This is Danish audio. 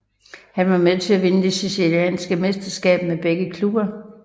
Han var med til at vinde det chilenske mesterskab med begge klubber